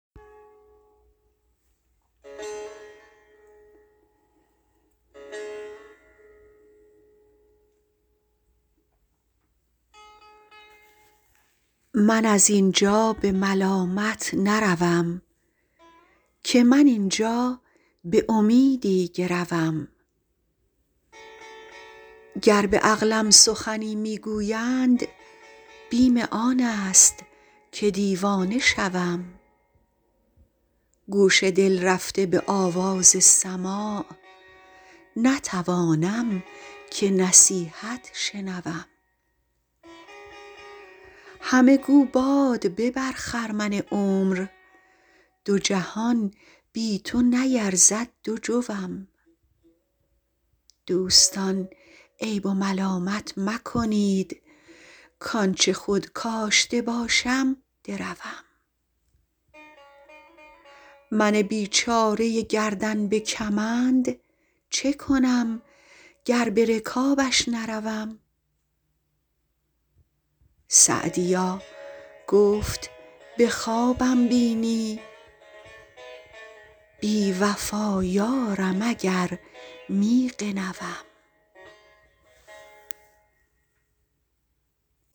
من از این جا به ملامت نروم که من این جا به امیدی گروم گر به عقلم سخنی می گویند بیم آن است که دیوانه شوم گوش دل رفته به آواز سماع نتوانم که نصیحت شنوم همه گو باد ببر خرمن عمر دو جهان بی تو نیرزد دو جوم دوستان عیب و ملامت مکنید کآن چه خود کاشته باشم دروم من بیچاره گردن به کمند چه کنم گر به رکابش نروم سعدیا گفت به خوابم بینی بی وفا یارم اگر می غنوم